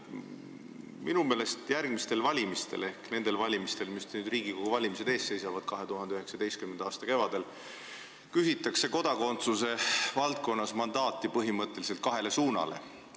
Minu meelest järgmistel Riigikogu valimistel – ehk nendel valimistel, mis seisavad ees 2019. aasta kevadel – küsitakse kodakondsuse valdkonnas mandaati põhimõtteliselt kahe suuna hoidmiseks.